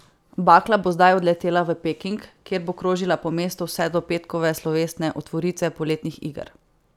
Bakla bo zdaj odletela v Peking, kjer bo krožila po mestu vse do petkove slovesne otvoritve poletnih iger.